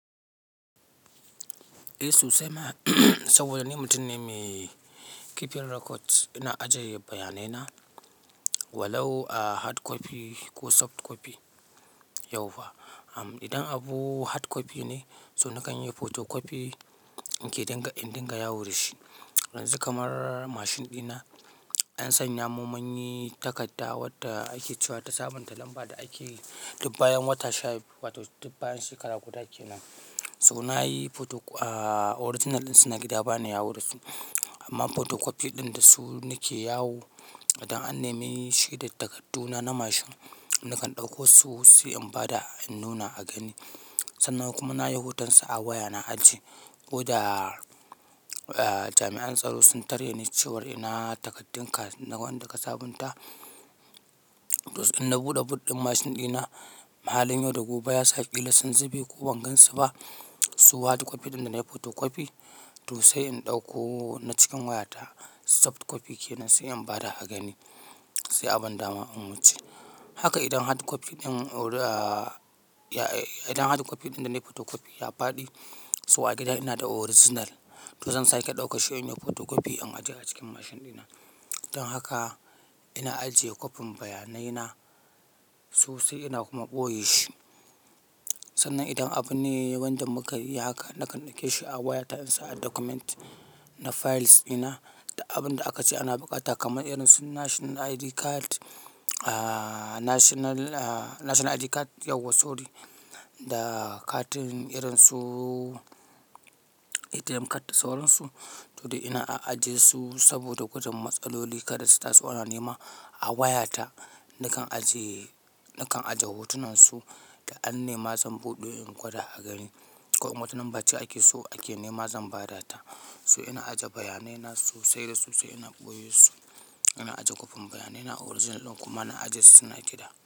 Eh, so sai ma saboda ni mutum ne mai kifin record. Ina ajiye bayanai na walau a hard copy ko soft copy, yau fa. Am idan abu hard copy ne, so na kan yi photocopy in ke dinga, in dinga yawo da shi. Yanzu kamar mashin ɗina, an sanya mun munyi takarda wadda ake cewa ta sabunta lamba da ake dubbayen wata sha wata dubbayen shekara guda ke nan. So na yi photo, aa original ɗin suna gida ba na yawo da su. Amma photocopy ɗin da su nake yawo, idan an nema shi da takardu na, na mashin, na kan ɗauko su sai in bada, in nuna a gani. Sannan kuma na yi hoton su a waya na ajiye. Ko da jami'an tsaro sun tare ni cewar ina takardun ka wanda ka sabunta, to in na buɗe boot ɗin mashin ɗina, mahalin yau da gobe ya saki lasun zube ko ban gansu ba, su hard copy ɗin da na yi photocopy, to sai in ɗauko na cikin wayata soft copy ke nan sai an bada a gani, sai a ban dama in wuce. Haka idan hard copy ɗin ori, aa idan hard copy ɗin da na yi photocopy ya faɗi, so a gida ina da original. To zan sake ɗaukar shi in yi photocopy in ajiye a cikin mashin ɗina. Don haka ina ajiye kopin bayanai na, sosai ina kuma ɓoye shi. Sannan idan abu ne wanda muka yi haka, na kan ɗauke shi a wayata in sa a document na files ina da abun da aka ce ana buƙata kamar irin su national ID card, aa national, aa national ID card yauwa sorry da katin irin su ATM card da sauransu. To dai ina a'aje su saboda kudun matsaloli kada su taso ana nema a wayata. Na kan ajiye, na kan ajiye hotunan su da an nema zan buɗe in gwada a gani. Ko wata num bace ake so ake nema zan bada ta. So ina ajiye bayanai na sosai da sosai ina ɓoye su. Ina ajiye kopin bayanai na original ɗin kuma na aje su suna gida.